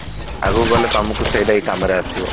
ଆଗକୁ ଗଲେ ତମକୁ ସେଇଟା ହିଁ କାମରେ ଆସିବ